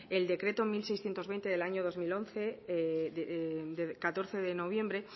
el decreto mil seiscientos veinte del año dos mil once de catorce de noviembre